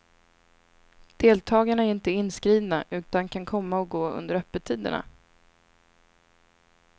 Deltagarna är inte inskrivna utan kan komma och gå under öppettiderna.